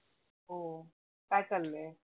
हो काय चालय?